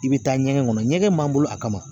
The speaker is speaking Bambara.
I bɛ taa ɲɛgɛn kɔnɔ ɲɛgɛn b'an bolo a kama